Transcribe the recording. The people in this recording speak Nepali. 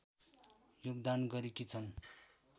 योगदान गरेकी छन्